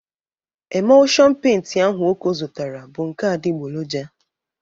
Emụlshon peinti ahụ Oko zụtara bụ nke adịgboloja.